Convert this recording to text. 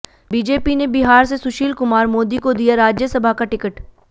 BJP ने बिहार से सुशील कुमार मोदी को दिया राज्यसभा का टिकट